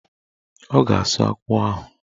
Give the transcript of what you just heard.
Ọ ga-asụ akwụ ahụ.